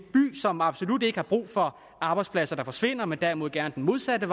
som absolut ikke har brug for at arbejdspladser forsvinder men derimod gerne det modsatte